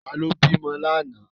Ta ló bímọ lánàá?